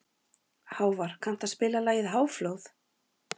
Hávar, kanntu að spila lagið „Háflóð“?